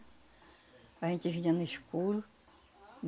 A gente vinha no escuro.